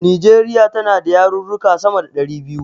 Nijeriya tana da yarurruka sama da ɗari biyu